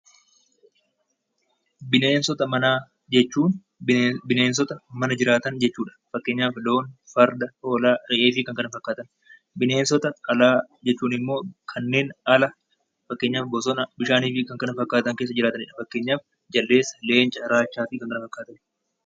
Bineensota manaa jechuun bineensota mana jiraatan jechuudha. Fakkeenyaaf loon, farda, hoolaa, re'ee fi kan kana fakkaatan bineensota alaa jechuun immoo kanneen ala fakkeenyaaf bosona , bishaanii fi kan kana fakkaatan keessa jiraatanidha. Fakkeenyaaf jaldeessa, leenca, raachaa fi kan kana fakkaatan .